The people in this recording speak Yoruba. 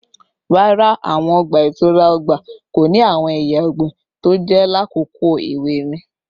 Rara, awọn ọgba-itura ọgba ko ni awọn eya ọgbin toje lakoko ewe mi